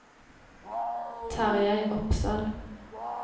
Tarjei Opsahl